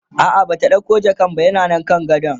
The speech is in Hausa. a'a Bata ɗauko jakan ba yana Nan kan gadon